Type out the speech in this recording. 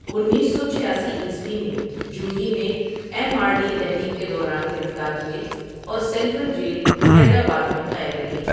انیس سو چھاسی عیسوی میں جوہی میں ایم آرڈی تحریک کے دوران گرفتار ہوئے اور سینٹرل جیل حیدر آباد میں قید رہے ۔